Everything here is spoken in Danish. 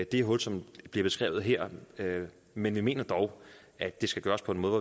det hul som bliver beskrevet her men vi mener dog at det skal gøres på en måde